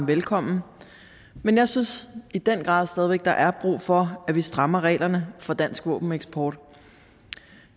velkommen men jeg synes i den grad stadig væk der er brug for at vi strammer reglerne for dansk våbeneksport